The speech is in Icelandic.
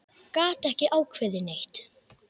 Gat ekki ákveðið neitt.